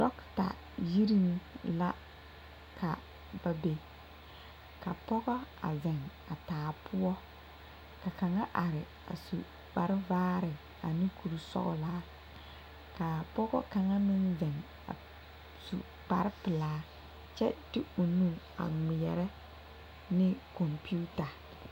Dɔketa yiri la ka ba be ka pɔge a zeŋ a taa poɔ ka kaŋa a are a su kparevaare ane kurisɔglaa k,a pɔge kaŋa meŋ zeŋ a su kparepelaa kyɛ de o nu a ŋmeɛrɛ ne kɔmpeta.